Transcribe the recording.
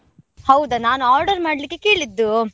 ಹೌದಾ ನಾನ್ order ಮಾಡ್ಲಿಕ್ಕೆ ಕೇಳಿದ್ದು.